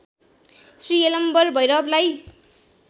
Shri Yalambar भैरवलाई